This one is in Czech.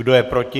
Kdo je proti?